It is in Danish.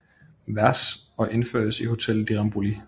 Vers og indførtes i Hotel de Rambouillet